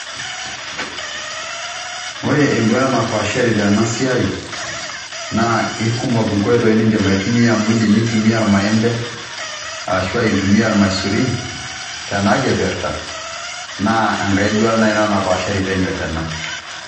Ore enduata napaashari tena siai naa ikumok inkoitoi nindim aitumia amu indim nintumia irmaembe ashua intumia irmaisurin tenakipirta naa enkae duata naaji ina napaashari tena.